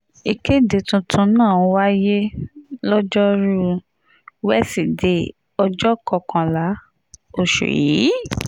ìkéde tuntun náà wáyé lojoruu wesidee ọjọ́ kọkànlá oṣù yìí